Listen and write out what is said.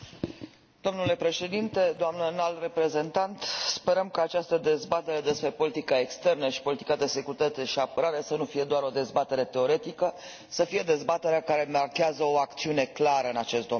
Domnule președinte, doamnă înalt reprezentant, sperăm ca această dezbatere despre politica externă și politica de securitate și apărare să nu fie doar o dezbatere teoretică, ci să fie dezbaterea care marchează o acțiune clară în acest domeniu.